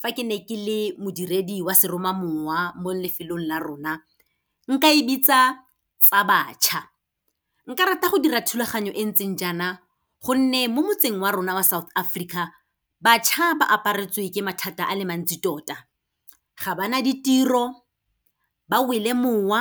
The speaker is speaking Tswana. fa ke ne ke le modiredi wa seromamowa, mo lefelong la rona, nka e bitsa tsa bašwa. Nka rata go dira thulaganyo e ntseng jaana gonne mo motseng wa rona wa South Africa, bašwa ba aparetswe ke mathata a le mantsi tota. Ga ba na ditiro, ba wele mowa,